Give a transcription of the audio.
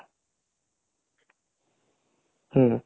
ହଁ